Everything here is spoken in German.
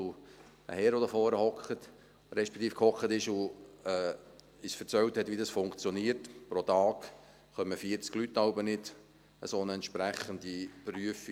Der Herr, der da vorne sitzt respektive sass und uns erzählte, wie das funktioniert … Pro Tag kommen manchmal 40 Leute nicht zu einer entsprechenden Prüfung;